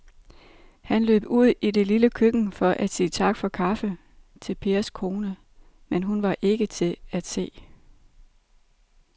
Han løb ud i det lille køkken for at sige tak for kaffe til Pers kone, men hun var ikke til at se.